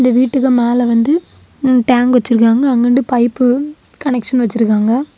இந்த வீட்டுக்கு மேல வந்து டேங்க் வச்சிருக்காங்க அங்கண்டு பைப்பு கனெக்சன் வச்சிருக்காங்க.